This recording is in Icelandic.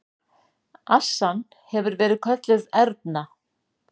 Assan hefur verið kölluð Erna.